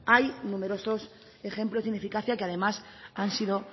hay numerosos ejemplos de ineficacia que además han sido